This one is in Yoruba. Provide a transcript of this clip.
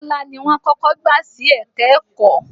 Bọ́lá ni wọ́n kọ́kọ́ gbà sí ẹ̀ka-ẹ̀kọ́.